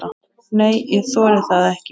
Nei, ég þori það ekki.